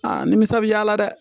Aa nimisa bi y'a la dɛ